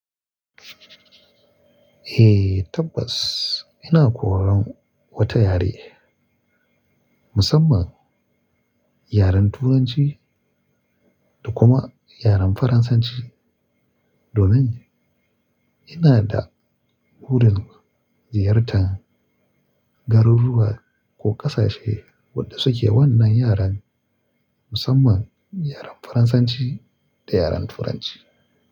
Eh tabbas, ina koyan wata yare musamman yaren Turanci da kuma yaren Faransanci domin ina da wurin ziyartar garuruwa ko ƙasashe waɗanda suke wannan yaren musamman yaren Faransanci da yaren Turanci.